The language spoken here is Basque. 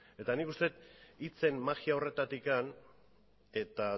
eta nik uste dut hitzen magia horretatik eta